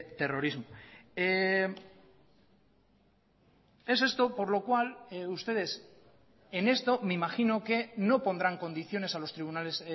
terrorismo es esto por lo cual ustedes en esto me imagino que no pondrán condiciones a los tribunales